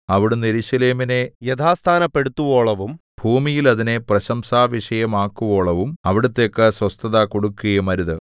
അവിടുന്ന് യെരൂശലേമിനെ യഥാസ്ഥാനപ്പെടുത്തുവോളവും ഭൂമിയിൽ അതിനെ പ്രശംസാവിഷയമാക്കുവോളവും അവിടുത്തേക്കു സ്വസ്ഥത കൊടുക്കുകയുമരുത്